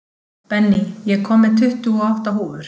Benný, ég kom með tuttugu og átta húfur!